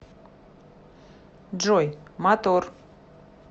джой мотор